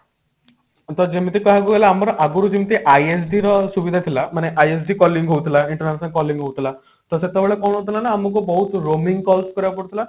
ତ ଯେମିତି କହିବାକୁ ଗଲେ ଆମର ଆଗରୁ ଯେମିତି ISD ର ସୁବିଧା ଥିଲା ମାନେ ISD calling ହଉଥିଲା international calling ହଉଥିଲା ତ ସେତେବେଳେ କଣ ହଉଥିଲା ନା ଆମକୁ ବହୁତ roaming calls କରିବାକୁ ପଡୁଥିଲା